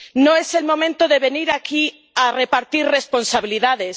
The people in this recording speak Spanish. No es el momento de venir aquí a repartir responsabilidades.